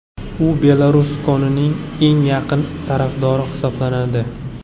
U Berluskonining eng yaqin tarafdori hisoblanadi.